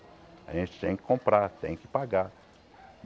A gente tem que comprar, tem que pagar.